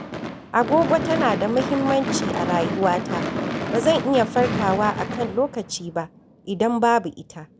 Agogo tana da muhimmanci a rayuwata, ba zan iya farkawa a kan lokaci ba idan babu ita.